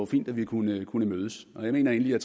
fint at vi kunne kunne mødes jeg mener egentlig at